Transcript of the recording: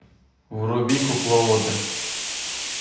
вруби кукловоды